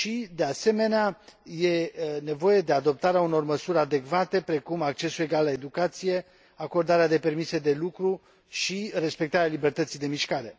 De asemenea, este nevoie de adoptarea unor măsuri adecvate, precum accesul egal la educație, acordarea de permise de lucru și respectarea libertății de mișcare.